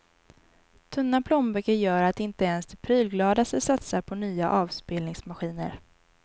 Tunna plånböcker gör att inte ens de prylgladaste satsar på nya avspelningsmaskiner.